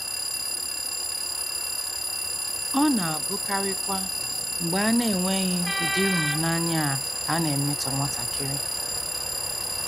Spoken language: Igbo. * Ọ na - abụkarịkwa mgbe a na - enweghị ụdị ịhụnanya a ka a na - emetọ nwatakịrị.